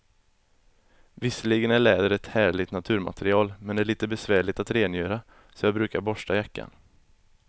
Visserligen är läder ett härligt naturmaterial, men det är lite besvärligt att rengöra, så jag brukar borsta jackan.